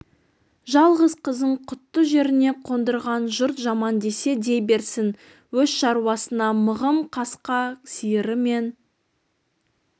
жалғыз қызын құтты жеріне қондырған жұрт жаман десе дей берсін өз шаруасына мығым қасқа сиыры мен